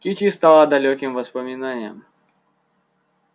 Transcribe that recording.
кичи стала далёким воспоминанием